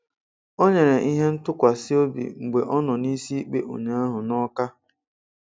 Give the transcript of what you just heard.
Ọ̀ nyèrè ihe ńtụ̀kwásị obi mgbe ọ nọ n'isi ikpe ụnyaahụ n'Ọ́ká